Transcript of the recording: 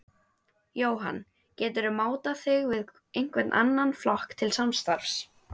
Jóhann: Geturðu mátað þig við einhvern annan flokk til samstarfs?